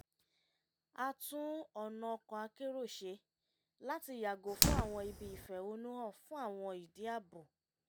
a tún ọ̀nà ọkọ̀ akérò ṣe láti yàgò fún àwọn ibi ìfẹ̀hónú-hàn fún àwọn ìdí ààbò